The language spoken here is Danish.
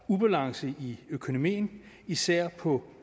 ubalance i økonomien især på